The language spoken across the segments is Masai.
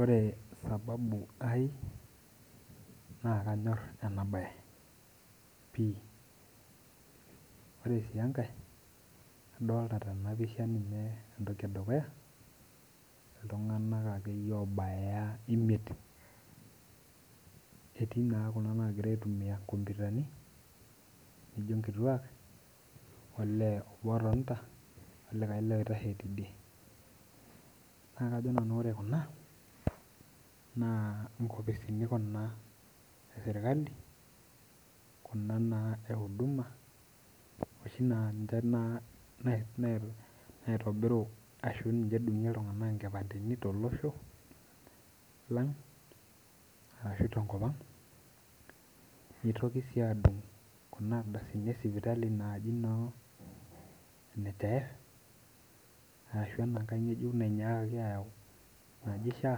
Ore sababu aai nakanyor enabae pii ore si enkare kadolita tenapisha entoki edukuya ltunganak akeyie obaya imiet etii na kuna nagira aitumia nkomputani nijo nkituak olee obo otonta olee obo oitashe tidie na kajo nanau ore kuna na nkopisini eserkali kuna euduma oshi na niche naitobiru ashu edungie ltunganak nkipandeni tolosho lang arashubtenkop aang nitoki si adung ardasini esipitali naji no nhif arashu enankae ngejuk nainyakaki aayau naji sha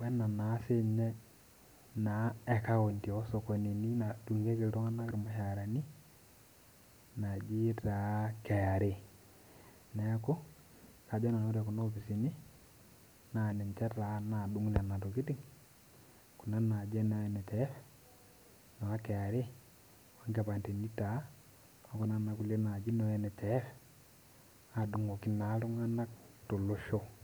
wenaa naa sinye ekaunti osokonini nadungieki ltunganak irmushaarani naji ta kra neaku ore kuna opisini kuna naji nhif no kra onkipandeni taa okuna taa nani no nhif adungoki ltunganak tolosho.